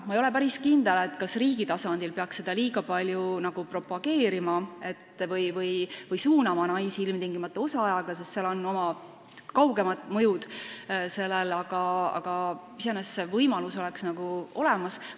Ma ei ole päris kindel, kas riigi tasandil peaks seda liiga palju propageerima või suunama naisi ilmtingimata osaajaga tööle, sest seal on omad kaugemad mõjud, aga iseenesest see võimalus võiks olemas olla.